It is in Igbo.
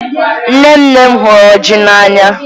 Nne nne m hụrụ ọjị n'anya